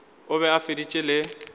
o be a feditše le